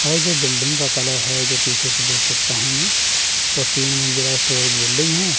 और जो बिल्डिंग का कलर है जो पीछे से देख सकता हूं मैं वो तीन मंजिला स्टोरेज बिल्डिंग है।